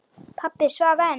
Pabbi svaf enn.